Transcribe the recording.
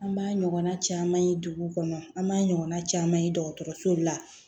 An b'a ɲɔgɔnna caman ye dugu kɔnɔ an b'a ɲɔgɔn caman ye dɔgɔtɔrɔso la